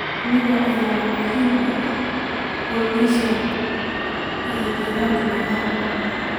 Shinnidu ayaa aad muhiim ugu ah pollination ee dhirta miraha.